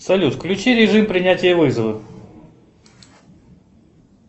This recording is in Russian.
салют включи режим принятия вызова